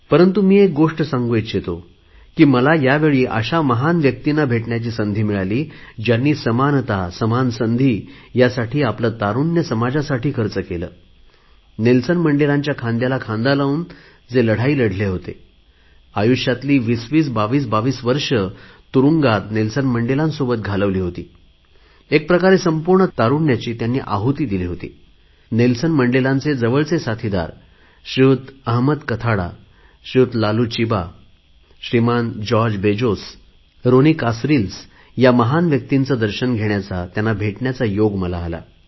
परंतु मी जी गोष्ट सांगू इच्छितो की मला यावेळी अशा महान व्यक्तींना भेटण्याची संधी मिळाली ज्यांनी समानता समान संधी यासाठी आले तारुण्य समाजासाठी खर्च होते नेल्सन मंडेलांच्या खांदाला खांदा Kathrada Laloo Chiba George Bizos Ronnie Kasrils ह्या महान व्यक्तींचे दर्शन घेण्याचा योग आला